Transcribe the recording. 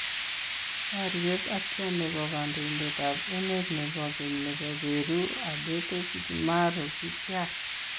Baryeet atya nebo kandoindetab emeet nebo keny nebo Peru Aberto Fujimori kityaach